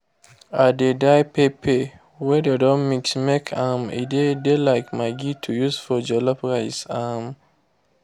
i dey dry pepper wey dey don mix make um e de de like maggi to use for jollof rice. um